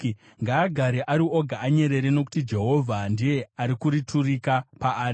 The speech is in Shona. Ngaagare ari oga anyerere, nokuti Jehovha ndiye akariturika paari.